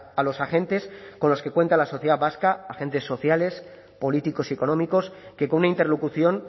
a los agentes con los que cuenta la sociedad vasca agentes sociales políticos y económicos que con una interlocución